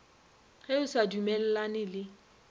ge o sa dumellane le